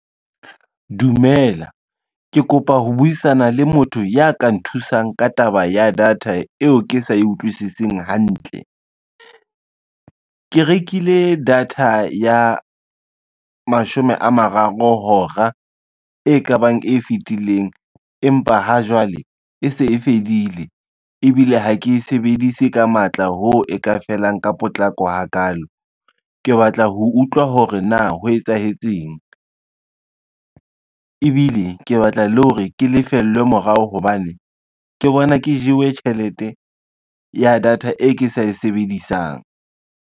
Dumela, ke kopa ho buisana le motho ya ka nthusang ka taba ya data eo ke sa e utlwisising hantle. Ke rekile data ya mashome a mararo hora e kabang e fitileng empa ha jwale, e se e fedile ebile ha ke e sebedise ka matla ho e ka felang ka potlako ha kalo. Ke batla ho utlwa hore na ho etsahetseng, ebile ke batla le hore ke lefellwe morao, hobane ke bona ke jewe tjhelete ya data e ke sa e sebedisang.